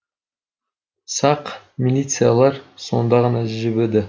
сақ милициялар сонда ғана жібіді